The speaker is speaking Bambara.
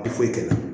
A tɛ foyi kɛ